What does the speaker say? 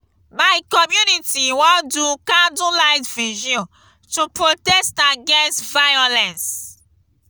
my community wan do candlelight virgil to protest against violence.